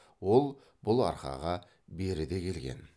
ол бұл арқаға беріде келген